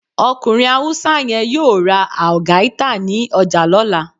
Okunrin Hausa yẹ́n yọọ rá Algaita ní ojà lola.